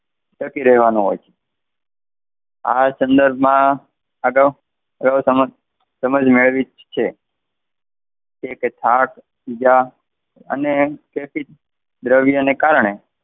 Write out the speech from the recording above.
ટકી રહેવાનું હોય છે. આ સંદર્ભમાં આગળ સમજ મેળવી છે. અને દ્રવ્ય ને કારણે.